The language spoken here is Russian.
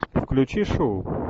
включи шоу